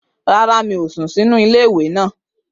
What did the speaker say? Rárá, mi ò sùn sínú iléèwé náà